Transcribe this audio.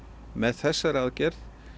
með þessari aðgerð